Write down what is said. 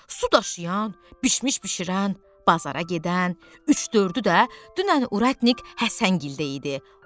Su daşıyan, bişmiş bişirən, bazara gedən, üç dördü də dünən urətnik Həsəngildə idi.